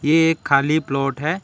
ये एक खाली प्लॉट है।